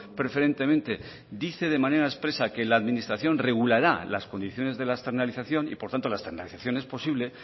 preferentemente dice de manera expresa que la administración regulará las condiciones de la externalizarían y por tanto la externalización es posible